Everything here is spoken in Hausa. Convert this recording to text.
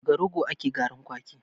Daga rogo ake garin kwaki